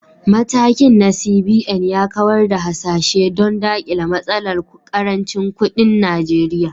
Matakin na CBN ya kawar da hasashe don dakile matsalar karancin kudin Najeriya.